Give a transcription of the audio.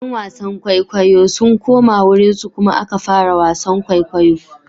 ’Yan wasan kwaikwayo sun koma wurinsu kuma aka fara wasan kwaikwayo.